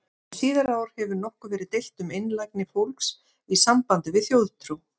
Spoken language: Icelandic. Hin síðari ár hefur nokkuð verið deilt um einlægni fólks í sambandi við þjóðtrú.